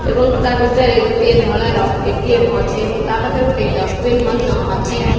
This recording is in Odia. ଏବଂ ତା ଭିତରେ ଗୋଟିଏ ଧଳା ର ଏଟିମ ଅଛି ଏବଂ ତା ପାଖରେ ଗୋଟିଏ ଡଷ୍ଟବିନ ମଧ୍ୟ ଅଛି।